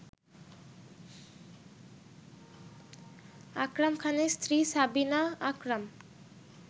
আকরাম খানের স্ত্রী সাবিনা আকরাম